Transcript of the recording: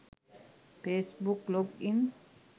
facebook log in